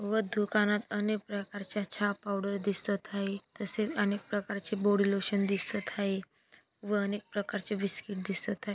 व दुकानात अनेक प्रकारच्या चहा पावडर दिसत आहेत. तसेच अनेक प्रकारचे बॉडी लोशन दिसत आहे. व अनेक प्रकारचे बिस्किट दिसत आहे.